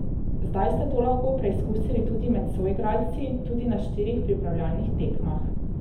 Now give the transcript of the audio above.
Zdaj ste to lahko preizkusili tudi med soigralci, tudi na štirih pripravljalnih tekmah.